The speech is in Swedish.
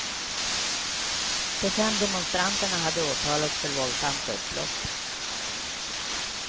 De fem demonstranterna hade åtalats för våldsamt upplopp.